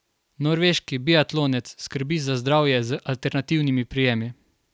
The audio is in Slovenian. Norveški biatlonec skrbi za zdravje z alternativni prijemi.